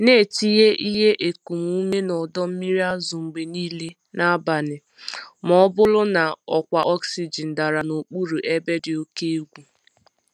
Na-etinye ihe ekum ume na ọdọ mmiri azụ mgbe niile n'abalị ma ọ bụrụ na ọkwa oxygen dara n'okpuru ebe dị oke egwu.